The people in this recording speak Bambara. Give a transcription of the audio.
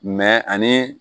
Mɛ ani